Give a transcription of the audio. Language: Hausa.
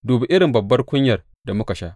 Duba irin babban kunyar da muka sha!